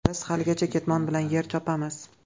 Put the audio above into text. Biz haligacha ketmon bilan yer chopamiz.